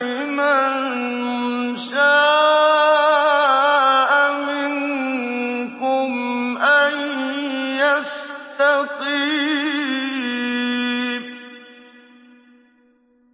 لِمَن شَاءَ مِنكُمْ أَن يَسْتَقِيمَ